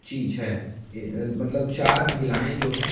चीज है अ मतलब चार महिलाएं जो हैं--